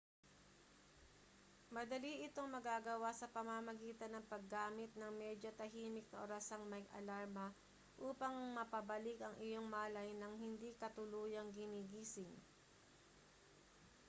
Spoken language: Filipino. madali itong magagawa sa pamamagitan ng paggamit ng medyo tahimik na orasang may alarma upang mapabalik ang iyong malay nang hindi ka tuluyang ginigising